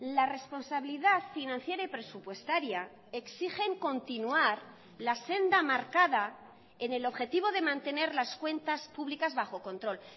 la responsabilidad financiera y presupuestaria exigen continuar la senda marcada en el objetivo de mantener las cuentas públicas bajo control